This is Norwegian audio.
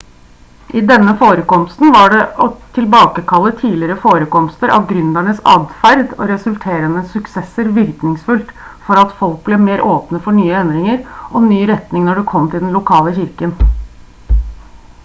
i denne forekomsten var det å tilbakekalle tidligere forekomster av gründeres atferd og resulterende suksesser virkningsfullt for at folk ble mer åpne for nye endringer og ny retning når det kom til den lokale kirken